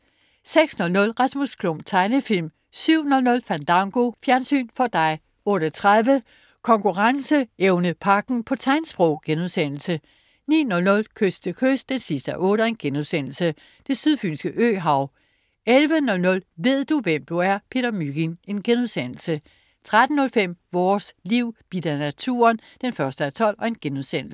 06.00 Rasmus Klump. Tegnefilm 07.00 Fandango. Fjernsyn for dig 08.30 Konkurrenceevnepagten, på tegnsprog* 09.00 Kyst til kyst 8:8.* Det sydfynske øhav 11.00 Ved du, hvem du er? Peter Mygind* 13.05 Vores Liv: Bidt af naturen 1:12*